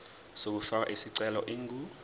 yokufaka isicelo ingu